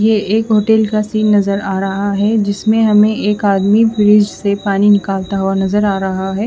ये एक होटल का सीन नज़र आ रहा है जिसमे हमे एक आदमी फ्रिज से पानी निकालता हुआ नज़र आ रहा है।